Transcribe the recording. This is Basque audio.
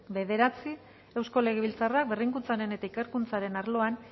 bederatzi eusko legebiltzarrak berrikuntzaren eta ikerkuntzaren arloan